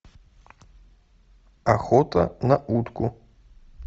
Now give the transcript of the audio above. охота на утку